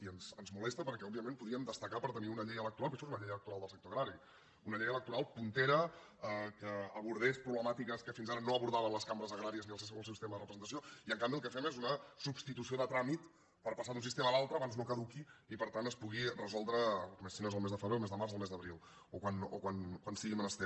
i ens molesta perquè òbviament podríem destacar per tenir una llei electoral perquè això és una llei electoral del sector agrari puntera que abordés pro·blemàtiques que fins ara no abordaven les cambres agràries ni el seu sistema de representació i en canvi el que fem és una substitució de tràmit per passar d’un sistema a l’altre abans no caduqui i per tant es pugui resoldre si no és el mes de febrer el mes de març o el mes d’abril o quan sigui de menester